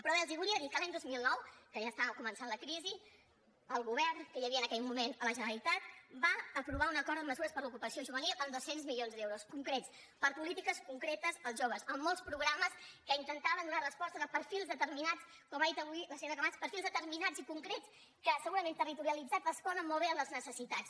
però bé els volia dir que l’any dos mil nou que ja començava la crisi el govern que hi havia en aquell moment a la generalitat va aprovar un acord amb mesures per a l’ocupació juvenil amb dos cents milions d’euros concret per a polítiques concretes per als joves amb molts programes que intentaven donar resposta a perfils determinats com ha dit avui la senyora camats perfils determinats i concrets que segurament territorialitzats responen molt bé a les necessitats